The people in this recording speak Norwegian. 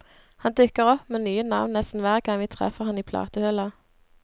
Han dukker opp med nye navn nesten hver gang vi treffer han i platehylla.